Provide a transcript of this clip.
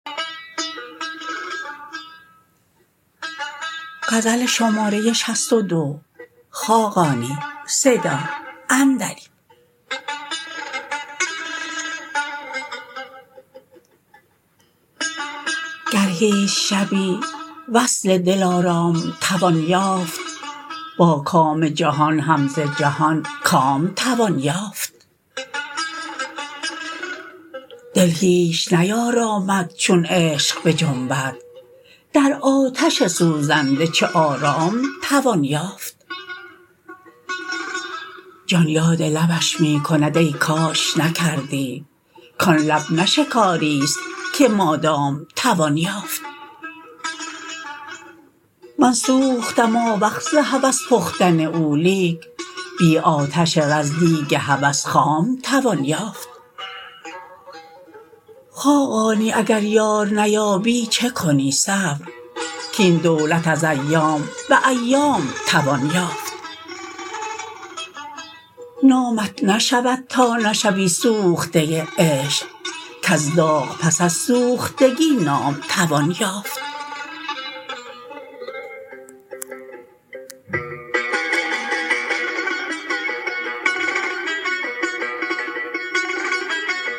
گر هیچ شبی وصل دلارام توان یافت با کام جهان هم ز جهان کام توان یافت دل هیچ نیارامد چون عشق بجنبد در آتش سوزنده چه آرام توان یافت جان یاد لبش می کند ای کاش نکردی کان لب نه شکاری است که مادام توان یافت من سوختم آوخ ز هوس پختن او لیک بی آتش رز دیگ هوس خام توان یافت خاقانی اگر یار نیابی چکنی صبر کاین دولت از ایام به ایام توان یافت نامت نشود تا نشوی سوخته عشق کز داغ پس از سوختگی نام توان یافت